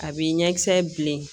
A b'i ɲɛkisɛ bilen